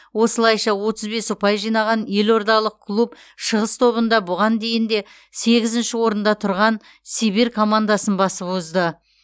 осылайша отыз бес ұпай жинаған елордалық клуб шығыс тобында бұған дейін де сегізінші орында тұрған сибирь командасын басып озды